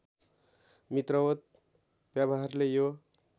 मित्रवत् व्यवहारले यो